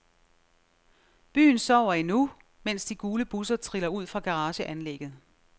Byen sover endnu, mens de gule busser triller ud fra garageanlægget.